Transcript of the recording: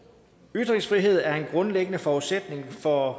ytringsfrihed er en grundlæggende forudsætning for